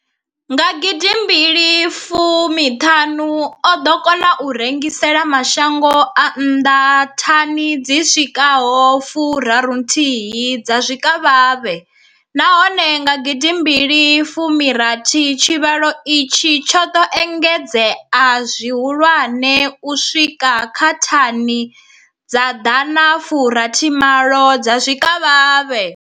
Nga gidi mbili fumi thanu, o ḓo kona u rengisela mashango a nnḓa thani dzi swikaho fu raru thihi dza zwikavhavhe, nahone nga gidi mbili fumi rathi tshivhalo itshi tsho ḓo engedzea zwihulwane u swika kha thani dza Dana fu rathi malo dza zwikavhavhe.